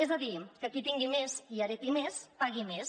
és a dir que qui tingui més i hereti més pagui més